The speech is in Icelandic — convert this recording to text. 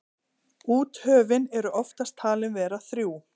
úthöfin eru oftast talin vera þrjú